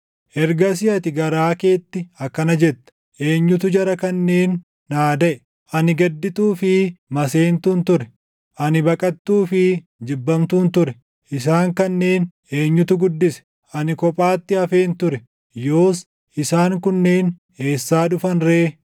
Ergasii ati garaa keetti akkana jetta; ‘Eenyutu jara kanneen naa daʼe? Ani gaddituu fi maseentuun ture; ani baqattuu fi jibbamtuun ture. Isaan kanneen eenyutu guddise? Ani kophaatti hafeen ture; yoos, isaan kunneen eessaa dhufan ree?’ ”